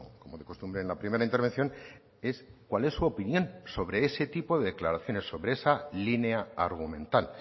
como de costumbre en la primera intervención es cuál es su opinión sobre ese tipo de declaraciones sobre esa línea argumental